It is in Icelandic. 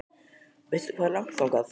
Veistu hvað er langt þangað?